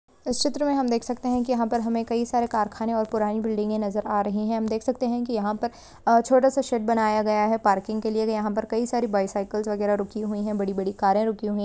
इस चित्र मे हम देख सकते है की हमे कही सारे कारखा ने और पुराने बिल्डिंगे नजर आ रही है। हम देख सकते है की यहा पर छोटा सा शेड बनाया गया है पार्किंग के लिए यहा पर कही सारे बायसाइकल्स वगेरा रूखी हुई है बड़ी-बड़ी कारे रुकी हुई --